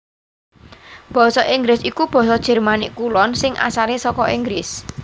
Basa Inggris iku basa Jermanik Kulon sing asalé saka Inggris